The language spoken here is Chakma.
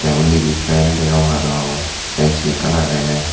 tey undidi fan degong aro A_C ekkan agey.